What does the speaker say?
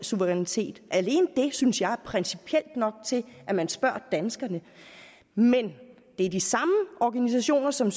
suverænitet alene det synes jeg principielt er nok til at man skal spørge danskerne men det er de samme organisationer som